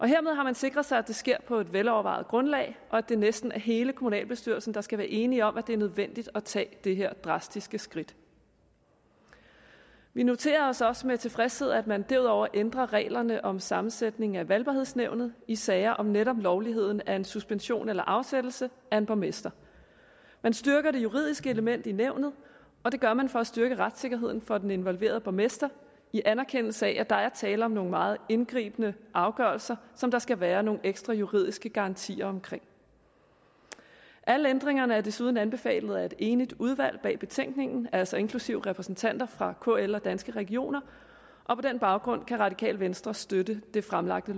hermed har man sikret sig at det sker på et velovervejet grundlag og at det næsten er hele kommunalbestyrelsen der skal være enige om at det er nødvendigt at tage det her drastiske skridt vi noterer os også med tilfredshed at man derudover ændrer reglerne om sammensætning af valgbarhedsnævnet i sager om netop lovligheden af en suspension eller afsættelse af en borgmester man styrker det juridiske element i nævnet og det gør man for at styrke retssikkerheden for den involverede borgmester i anerkendelse af at der er tale om nogle meget indgribende afgørelser som der skal være nogle ekstra juridiske garantier omkring alle ændringerne er desuden anbefalet af et enigt udvalg bag betænkningen altså inklusive repræsentanter for kl og danske regioner og på den baggrund kan radikale venstre støtte det fremsatte